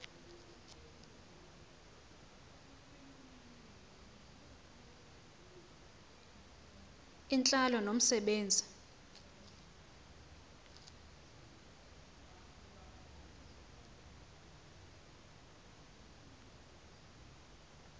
intlalo nomse benzi